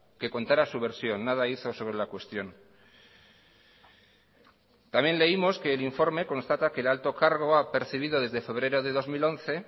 que contara su versión nada hizo sobre la cuestión también leímos que el informe constata que el alto cargo ha percibido desde febrero de dos mil once